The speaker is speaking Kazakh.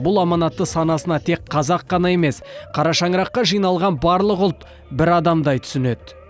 бұл аманатты санасына тек қазақ емес қара шаңыраққа жиналған барлық ұлт бір адамдай түсінеді